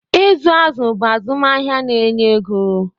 ịzụ azụ̀ bụ azụmahịa na-enye ego